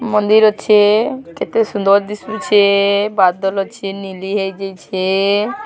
ମନ୍ଦିର ଅଛେ କେତେ ସୁନ୍ଦର ଦିଶୁଛେ ବାଦଲ ଅଛେ ନୀଲି ହେଇ ଯାଇଛେ।